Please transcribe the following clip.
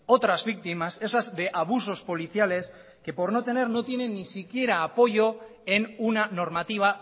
otras víctimas esas de abusos policiales que por no tener no tienen ni siquiera apoyo en una normativa